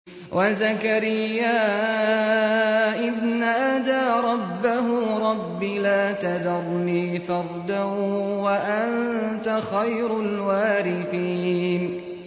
وَزَكَرِيَّا إِذْ نَادَىٰ رَبَّهُ رَبِّ لَا تَذَرْنِي فَرْدًا وَأَنتَ خَيْرُ الْوَارِثِينَ